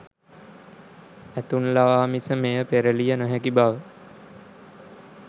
ඇතුන් ලවා මිස මෙය පෙරලිය නොහැකි බව